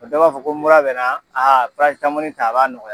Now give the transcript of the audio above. O dɔ b'a fɔ ko mura bɛ na a ta a b'a nɔgɔya.